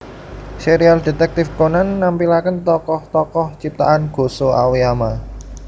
Serial Detektif Conan nampilakèn tokoh tokoh ciptaan Gosho Aoyama